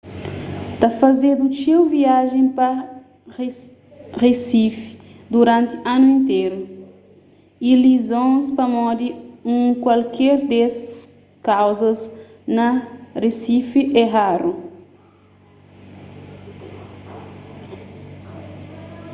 ta fazedu txeu viajen pa risifi duranti anu interu y lizons pamodi un kualker des kauzas na risifi é raru